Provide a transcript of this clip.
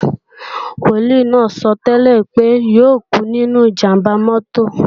Wòlíì náà sọ́tẹ́lẹ̀ pé yóò kú nínú ìjàmbá mọ́tò